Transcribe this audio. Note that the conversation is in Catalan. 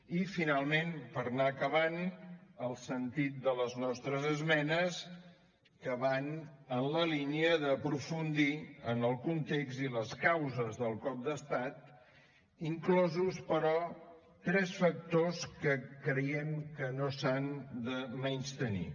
i finalment per anar acabant el sentit de les nostres esmenes que van en la línia d’aprofundir en el context i les causes del cop d’estat inclosos però tres factors que creiem que no s’han de menystenir